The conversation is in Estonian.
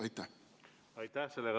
Aitäh!